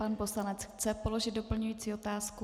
Pan poslanec chce položit doplňující otázku.